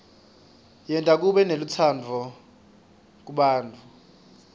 yenta kube nelutsandvo kubantfu